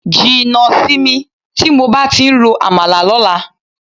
Jìnnà sí mi tí mo bá ti ń rọ àmàlà lọ́la.